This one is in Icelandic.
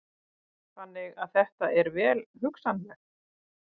Þannig að þetta er vel hugsanlegt?